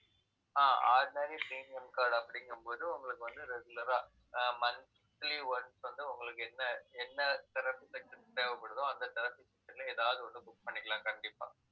ஆஹ் ordinary premium card அப்படிங்கும்போது, உங்களுக்கு வந்து, regular ah ah monthly once வந்து, உங்களுக்கு என்ன என்ன therapy session தேவைப்படுதோ அந்த therapy session ல எதாவது ஒண்ணு, book பண்ணிக்கலாம் கண்டிப்பா